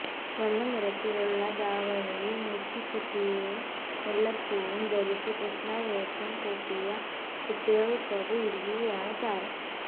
വെള്ളനിറത്തിലുള്ള ദാവണിയും നെറ്റിച്ചുട്ടിയും മുല്ലപ്പൂവും ധരിച്ച് കൃഷ്ണവേഷം കെട്ടിയ കുട്ടികള്ക്കൊപ്പം ഇരിക്കുകയാണ് താരം